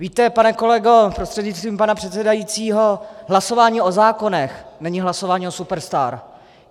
Víte, pane kolego prostřednictvím pana předsedajícího, hlasování o zákonech není hlasování o superstar.